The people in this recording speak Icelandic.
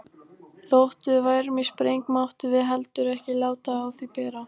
Þótt við værum í spreng máttum við heldur ekki láta á því bera.